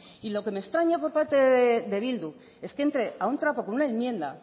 y lo que me extraña por parte de bildu es que entre a un trapo con una enmienda